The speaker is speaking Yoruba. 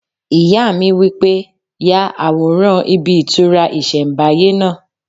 Ìyá mi wí pé "Ya àwòrán ibí ìtura ìsẹ̀nbáyé náà"